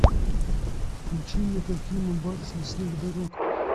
включи мне картину барс лесных дорог